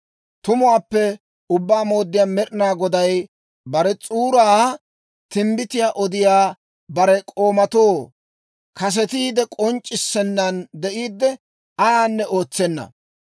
Tumuwaappe Ubbaa Mooddiyaa Med'inaa Goday bare s'uuraa timbbitiyaa odiyaa bare k'oomatoo kasetiide k'onc'c'issennaan de'iidde, ayaanne ootsenna.